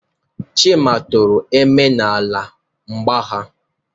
Chima tụpụrụ Eme n'ala na mgba ha.